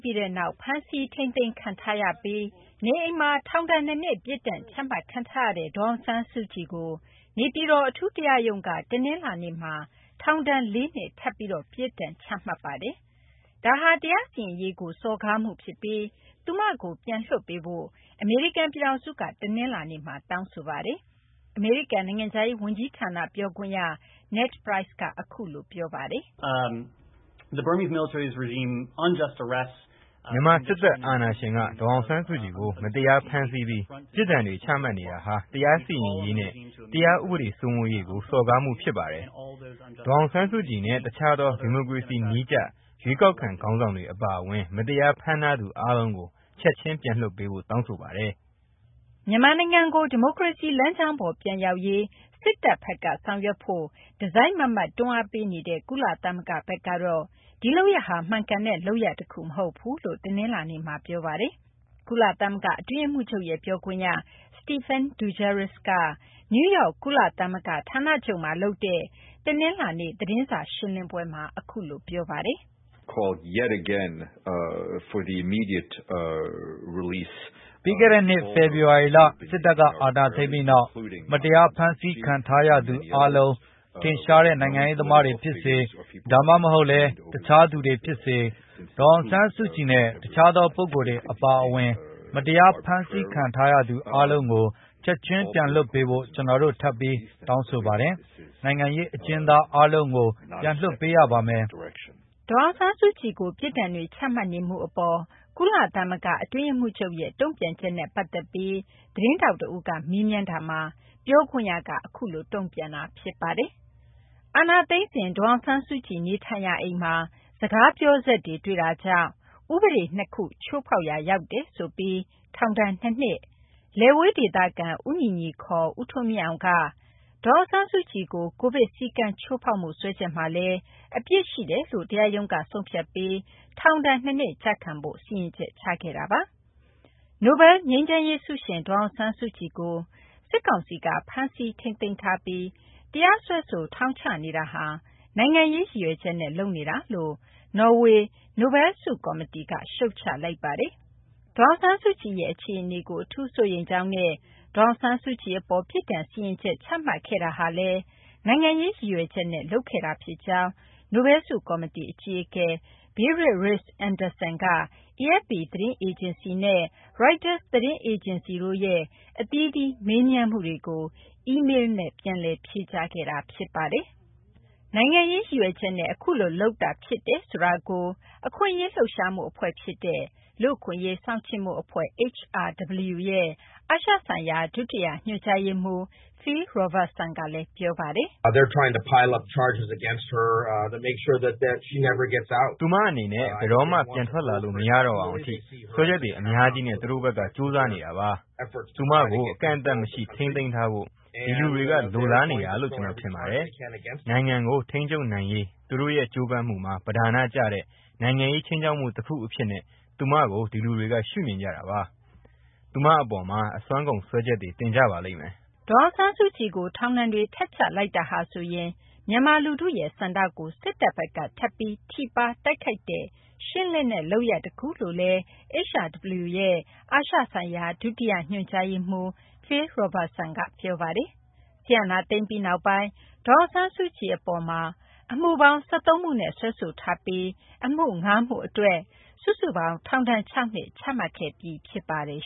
ပြီးနောက် ဖမ်းဆီး ထိန်းသိမ်းခံထားပြီး နေအိမ်မှာ ထောင်ဒဏ် ၂ နှစ် ပြစ်ဒဏ် ချမှတ်ခံထားရတဲ့ ဒေါ်အောင်ဆန်းစုကြည်ကို နေပြည်တော် အထူးတရားရုံးက တနလာၤနေ့မှာ ထောင်ဒဏ် ၄ နှစ် ထပ်ပြီး ပြစ်ဒဏ်ချလိုက်ပါတယ်။ ဒါဟာ တရားစီရင်ရေးကို စော်ကားမှု ဖြစ်ပြီး သူမကို ပြန်လွှတ်ပေးဖို့ အမေရိကန် ပြည်ထောင်စုက တနလာၤနေ့မှာ တောင်းဆိုလိုက်ပါတယ်။ အမေရိကန် နိုင်ငံခြားရေး ဝန်ကြီးဌာန ပြောခွင့်ရ Ned Price က အခုလို ပြောဆိုတာ ဖြစ်ပါတယ်။ “ မြန်မာ စစ်တပ် အာဏာရှင်က ဒေါ်အောင်ဆန်းစုကြည်ကို မတရားဖမ်းဆီးပြီး ပြစ်ဒဏ်တွေ ချမှတ်နေတာဟာ တရားစီရင်ရေးနဲ့ တရားဥပဒေ စိုးမိုးရေးကို စော်ကားမှု ဖြစ်ပါတယ်။ ဒေါ်အောင်ဆန်းစုကြည်နဲ့ တခြားသော ဒီမိုကရေစီ နည်းကျ ရွေးကောက်ခံ ခေါင်းဆောင်တွေ အပါအဝင် မတရား ဖမ်းထားသူ အားလုံးကို ချက်ချင်း ပြန်လွှတ်ပေးဖို့ တောင်းဆိုပါတယ်။ ” မြန်မာနိုင်ငံကို ဒီမိုကရေစီ လမ်းကြောင်းပေါ် ပြန်ရောက်ရေး စစ်တပ်ဘက်က ဆောင်ရွက်ဖို့ တစိုက်မတ်မတ် တွန်းအားပေးနေတဲ့ ကုလသမဂ္ဂ ဘက်ကတော့ ဒီလုပ်ရပ်ဟာ မှန်ကန်တဲ့ လုပ်ရပ် တခု မဟုတ်ဘူးလို့ တနလာၤနေ့မှာ ပြောဆိုလိုက်ပါတယ်။ ကုလသမဂ္ဂ အတွင်းရေးမှူးချုပ်ရဲ့ ပြောခွင့်ရ ပြောခွင့်ရ Stephane Dujarric က နယူးယောက် ကုလသမဂ္ဂ ဌာနချုပ်မှာ လုပ်တဲ့ တနလာၤနေ့ သတင်းစာ ရှင်းလင်းပွဲမှာ အခုလို ပြောပါတယ်။ “ ပြီးခဲ့တဲ့နှစ် ဖေဖော်ဝါရီလ စစ်အာဏာသိမ်းပြီးနောက် မတရား ဖမ်းခံထားရသူအားလုံး၊ ထင်ရှားတဲ့ နိုင်ငံရေးသမားတွေ ဖြစ်စေ ဒါမှမဟုတ်လည်း တခြားသူတွေဲ ဖြစ်စေ၊ ဒေါ်အောင်ဆန်းစုကြည်နဲ့ တခြားသော ပုဂ္ဂိုလ်တွေ အပါအဝင် မတရား ဖမ်းခံထားရသူ အားလုံးကို ချက်ချင်း ပြန်လွှတ်ပေးဖို့ ကျနော်တို့ ထပ်ပြီး တောင်းဆိုပါတယ်။ နိုင်ငံရေး အကျဉ်းသား အားလုံးကို ပြန်လွှတ်ပေးရပါမယ်။” ဒေါ်အောင်ဆန်းစုကြည်ကို ပြစ်ဒဏ်တွေ ချမှတ်နေမှု အပေါ် ကုလသမဂ္ဂ အတွင်းရေးမှူးချုပ်ရဲ့ တုံ့ပြန်ချက်ကို သတင်းထောက် တဦးက မေးမြန်းခဲ့တာမှာ ပြောခွင့်ရက အခုလို တုံ့ပြန်တာ ဖြစ်ပါတယ်။ အာဏာသိမ်းစဉ် ဒေါ်အောင်ဆန်းစုကြည် နေထိုင်ရာ အိမ်မှာ စကားပြောစက်တွေ တွေ့တာကြောင့် ဥပဒေ ၂ ခု ချိုးဖောက်ရာ ရောက်တယ်ဆိုပြီး ထောင်ဒဏ် ၂ နှစ်၊လယ်ဝေး ဒေသခံ ဦးညီညီ ခေါ် ဦးထွန်းမြင့်အောင်က ဒေါ်အောင်ဆန်းစုကြည်ကို ကိုဗစ် စည်းကမ်း ချိုးဖောက်မှု စွဲချက်မှာလည်း အပြစ်ရှိတယ်လို့ တရားရုံးက ဆုံးဖြတ်ပြီး ထောင်ဒဏ် ၂ နှစ် ကျခံဖို့ စီရင်ချက် ချခဲ့တာပါ။ နိုဘဲလ် ငြိမ်းချမ်းရေး ဆုရှင် ဒေါ်အောင်ဆန်းစုကြည်ကို စစ်ကောင်စီက ဖမ်းဆီးထိန်းသိမ်းထားပြီး တရားစွဲဆို ထောင်ချနေတာဟာ နိုင်ငံရေး ရည်ရွယ်ချက်နဲ့ လုပ်နေတာလို့ နော်ေ၀ နိုဘဲလ် ဆု ကော်မတီကလည်း ရှုတ်ချလိုက်ပါတယ်။ ဒေါ်အောင်ဆန်းစုကြည်ရဲ့ အခြေအနေကို အထူးစိုးရိမ်ကြောင်းနဲ့ ဒေါ်အောင်ဆန်းစုကြည် အပေါ် ပြစ်ဒဏ်စီရင်ချက် ချမှတ်ခဲ့တာဟာ နိုင်ငံရေး ရည်ရွယ်ချက်နဲ့ လုပ်ခဲ့တာ ဖြစ်ကြောင်း နိုဘဲလ်ဆု ကော်မတီ အကြီးအကဲ Berit Reiss-Andersen က AFP သတင်းအေဂျင်စီနဲ့ Reuters သတင်းအေဂျင်စီတို့ရဲ့ အသီးသီး မေးမြန်းမှုတွေကို အီမေလ်းနဲ့ ပြန်လည် ဖြေကြားခဲ့တာ ဖြစ်ပါတယ်။ နိုင်ငံရေး ရည်ရွယ်ချက်နဲ့ အခုလို လုပ်တာ ဖြစ်တယ်ဆိုတာကို အခွင့်အရေး လှုပ်ရှားမှု အဖွဲ့ ဖြစ်တဲ့ လူ့အခွင့်အရေး စောင့်ကြည့်မှုအဖွဲ့ HRW ရဲ့ အာရှဆိုင်ရာ ဒုတိယ ညွှန်ကြားရေးမှူး Phil Robertson ကလည်း ပြောပါတယ်။ “ သူမ အနေနဲ့ ဘယ်တော့မှ ပြန်ထွက်လာလို့ မရတော့အောင် အထိ စွဲချက်တွေ အများကြီးနဲ့ သူတို့ဘက်က ကြိုးစားနေတာပါ။ သူမကို အကန့်အသတ်မရှိ ထိန်းသိမ်းထားဖို့ ဒီလူတွေက လိုလားနေတာလို့ ကျနော် ထင်ပါတယ်။ နိုင်ငံကို ထိန်းချုပ်နိုင်ရေး သူတို့ရဲ့ ကြိုးပမ်းမှုမှာ ပဓာနကျတဲ့ နိုင်ငံရေး ခြိမ်းခြောက်မှု တခု အဖြစ်နဲ့ သူမကို ဒီလူတွေက ရှုမြင်ကြတာပါ။ သူမ အပေါ်မှာ အစွမ်းကုန် စွဲချက်တွေ တင်ကြပါလိမ့်မယ်။” ဒေါ်အောင်ဆန်းစုကြည်ကို ထောင်ဒဏ်တွေ ထပ်ချလိုက်တာဟာဆိုရင် မြန်မာ လူထုရဲ့ ဆန္ဒကို စစ်တပ်ဘက်က ထပ်ပြီး ထိပါး တိုက်ခိုက်တဲ့ ရှင်းလင်းတဲ့ လုပ်ရပ် တခုလို့လည်း HRW ရဲ့ အာရှဆိုင်ရာ ဒုတိယ ညွှန်ကြားရေးမှူး Phil Robertson က ပြောပါတယ်။ စစ်အာဏာသိမ်းပြီးနောက်ပိုင်း ဒေါ်အောင်ဆန်းစုကြည် အပေါ်မှာ အမှုပေါင်း ၁၃ မှုနဲ့ စွဲဆိုထားပြီး အမှု ၅ ခု အတွက် စုစုပေါင်း ထောင်ဒဏ် ၆ နှစ် ချမှတ်ခဲ့ပြီး ဖြစ်ပါတယ်